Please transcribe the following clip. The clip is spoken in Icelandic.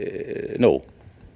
nóg